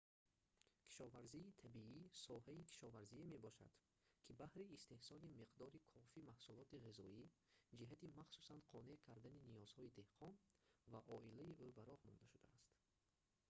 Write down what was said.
кишоварзии табиӣ соҳаи кишоварзие мебошад ки баҳри истеҳсоли миқдори кофи маҳсулоти ғизоӣ ҷиҳати махсусан қонеъ кардани ниёзҳои деҳқон ва оилаи ӯ ба роҳ монда шудааст